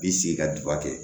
I bi sigi ka duba kɛ